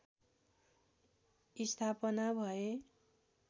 स्थापना भए